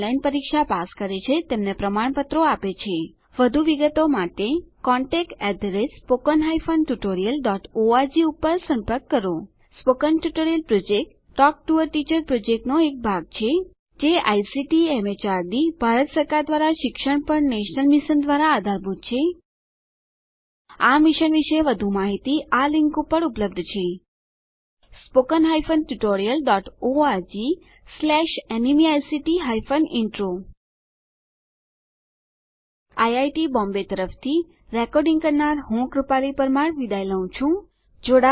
જેઓ ઓનલાઇન પરીક્ષા પાસ કરે છે તેમને પ્રમાણપત્રો આપે છે વધુ વિગતો માટે કૃપા કરી contactspoken tutorialorg ઉપર સંપર્ક કરો spoken tutorial project talk to a teacher પ્રોજેક્ટનો એક ભાગ છે જે આઇસીટી એમએચઆરડી ભારત સરકાર દ્વારા શિક્ષણ પર નેશનલ મિશન દ્વારા આધારભૂત છે આ મિશન વિશે વધુ માહીતી આ લીંક ઉપર ઉપલબ્ધ છે spoken hyphen tutorial dot ORG slash NMEICT hyphen intro IIT Mumbai તરફથી ભાષાંતર કરનાર હું જ્યોતી સોલંકી વિદાય લઉં છું